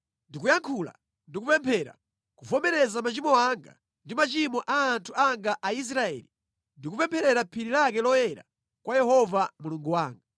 Ndikuyankhula ndi kupemphera, kuvomereza machimo anga ndi machimo a anthu anga Aisraeli ndi kupempherera phiri lake loyera kwa Yehova Mulungu wanga,